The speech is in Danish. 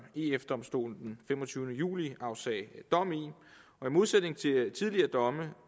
ef domstolen den femogtyvende juli afsagde dom i i modsætning til tidligere domme